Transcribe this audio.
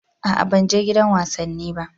A'a ban je gidan wasanni ba.